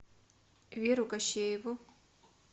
веру кощееву